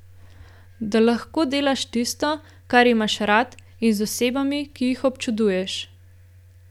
Da lahko delaš tisto, kar imaš rad in z osebami, ki jih občuduješ.